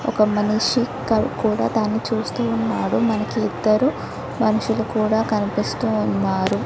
ఒక మనిషి ఇక్కడ్ కూడా దాని చూస్తూ ఉన్నాడు. మనకి ఇద్దరు మనుషులు కూడా కనిపిస్తూ ఉన్నారు.